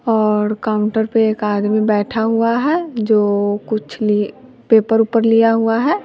और काउंटर पे एक आदमी बैठा हुआ है जो कुछ लिए पेपर वेपर लिया हुआ है।